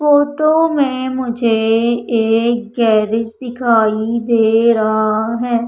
Photo में मुझे एक गैरेज दिखाई दे रहा है।